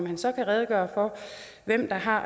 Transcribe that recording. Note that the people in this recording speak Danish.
han så kan redegøre for hvem der har